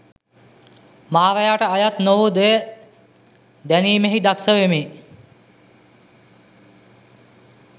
මාරයාට අයත් නොවූ දෙය දැනීමෙහි දක්‍ෂ වෙමි.